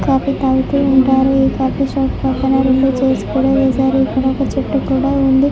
Coffee తాగుతూ ఉంటారు ఈ కాఫీ షాప్ పక్కనే రెండు చైర్స్ కూడా వేశారు ఇక్కడ ఒక చెట్టు కూడా ఉంది.